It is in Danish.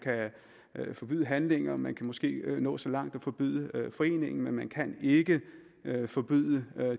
forbyde handlinger og man kan måske nå så langt at forbyde foreningen men man kan ikke forbyde